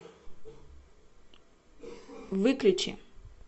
выключи